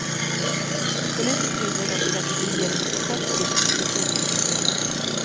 Politiskt vinner dock säkert regeringen på kort sikt det pågående spelet.